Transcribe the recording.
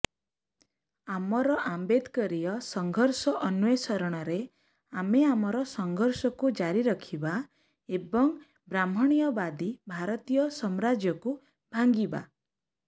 ଆମର ଆମ୍ବେଦକରୀୟ ସଂଘର୍ଷ ଅନ୍ୱେଷଣରେ ଆମେ ଆମର ସଂଘର୍ଷକୁ ଜାରୀ ରଖିବା ଏବଂ ବ୍ରାହ୍ମଣ୍ଣ୍ୟବାଦୀ ଭାରତୀୟ ସମ୍ରାଜ୍ୟକୁ ଭାଙ୍ଗିବା